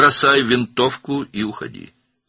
Tüfəngi at və get.